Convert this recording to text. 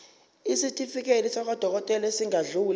isitifiketi sakwadokodela esingadluli